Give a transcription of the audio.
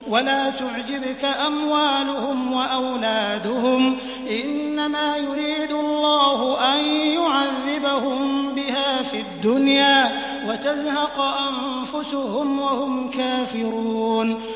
وَلَا تُعْجِبْكَ أَمْوَالُهُمْ وَأَوْلَادُهُمْ ۚ إِنَّمَا يُرِيدُ اللَّهُ أَن يُعَذِّبَهُم بِهَا فِي الدُّنْيَا وَتَزْهَقَ أَنفُسُهُمْ وَهُمْ كَافِرُونَ